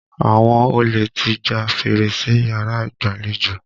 Àwọn olè ti já fèrèsé yàrá ìgbàlejò.